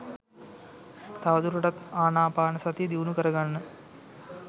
තවදුරටත් ආනාපානසතිය දියුණු කරගන්න